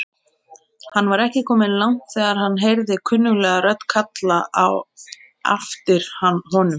Hann var ekki kominn langt þegar hann heyrði kunnuglega rödd kalla á aftir honum.